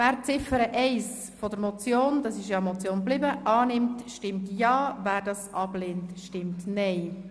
Wer Ziffer 1 der Motion annehmen will, stimmt Ja, wer sie ablehnt, stimmt Nein.